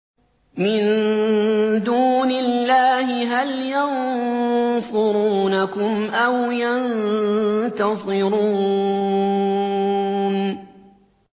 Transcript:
مِن دُونِ اللَّهِ هَلْ يَنصُرُونَكُمْ أَوْ يَنتَصِرُونَ